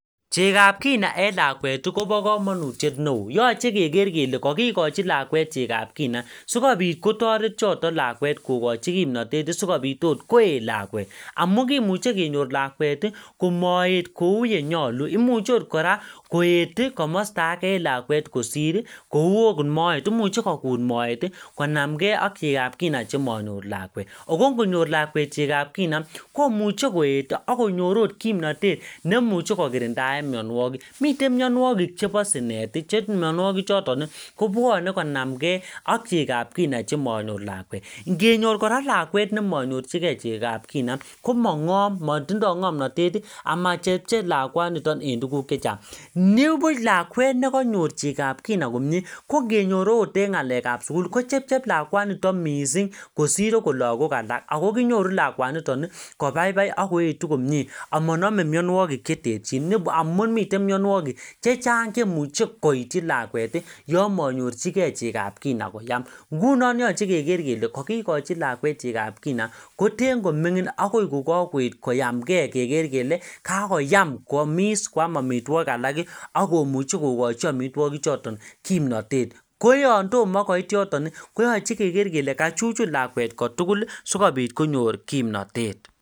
Chegab kina en lakwet kobo kamanutiet neo. Yoche keker kele kakikochi lakwet chegab kina sigopit kotaret choto lakwet kogochi kimnatet sigopit oot koet lakwet amu kimuche kenyor lakwet komoet kou yenyalu. Imuche ootkora koet komosta age en lakwet kosir. Kou ogot moet, imuche koet moet konamnge ak chegab kina chemanyor lakwet ago konyor lakwet chegab kina kimuche koet ak konyor agot kimnatet nemuche kokirindaen mianwogik. Miten mianwogik chebo sinet che mianwogichoton kobwane konamnge ak chegab kina chemanyor lakwet. Ngenyor kora lakwet nemanyorchige chegab kina komangom. Matindo ngamnatet amachepchep lakwanito en tuguk che chang. Nibuch lakwet nekanyor chegab kina komie, kongenyor oot eng ngalekab sugul ko chepchep lakwanito mising kosir ogot lagok alak ago kinyoru lakwanito kobaibai ak koetu komie. Amanome mianwogik cheterchin amun miten mianwogik chechang chemuche koityi lakwet yon manyorchige chegab kina koyam. Ngunon yoche keker kele kakikochi lakwet chegab kina koten ko mingin agoi kokakoet koyamnge keker kele kakoyam kwamis, kwam amitwogik alak ii ak komuche kogachi amitwogichoto kimnatet. Koyon tomo koit yoton koyache keker kele kachuchun lakwet kotugul sigopit konyor kimnatet.